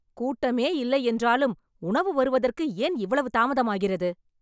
கூட்டமே இல்லை என்றாலும் உணவு வருவதற்கு ஏன் இவ்வளவு தாமதம் ஆகிறது